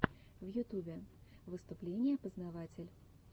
в ютубе выступление познаватель